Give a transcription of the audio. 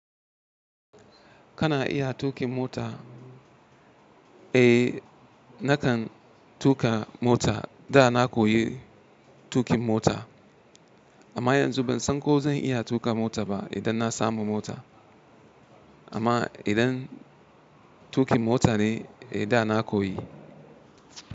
Kana iya tuƙin mota? Eh, nakan tuƙa mota. Da na koyi tuƙin mota amma yanzu ban san ko zan iya tuƙa mota ba idan na samu mota. Amma idan tuƙin mota ne eh da na koyi.